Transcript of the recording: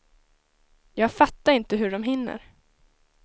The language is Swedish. Jag fattar inte hur dom hinner.